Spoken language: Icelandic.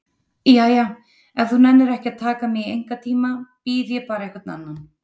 Jæja, ef þú nennir ekki að taka mig í einkatíma bið ég bara einhvern annan.